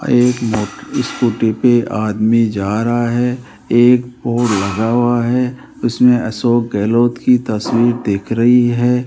आ एक मो स्कूटी पे आदमी जा रहा है एक पोल लगा हुआ है उसमें अशोक गहलोत की तस्वीर दिख रही है।